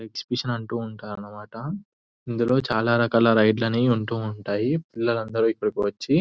Exhibition అంటూ ఉంటారు అన్నమాట ఇందులో చాలా రకాల రైడ్ లని ఉంటూ ఉంటాయి పిల్లలు అందరు ఇక్కడికి వచ్చి --.